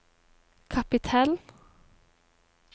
kapittel